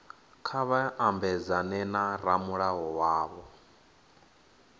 kha vha mabedzane na ramulayo wavho